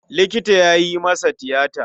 Likita ya yi masa tiyata.